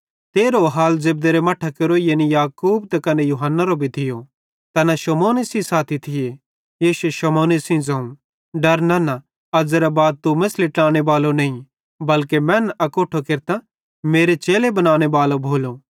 तेरहो हाल जेब्देरे मट्ठां केरो यानी याकूब त कने यूहन्नारो भी थियो ज़ैना शमौने सेइं साथी थिये यीशुए शमौने सेइं ज़ोवं डरा नन्ना अज़्ज़ेरे बाद तू मेछ़ली नईं बल्के मैनन् अकोट्ठे केरतां मेरे चेले बनानेबालो भोलो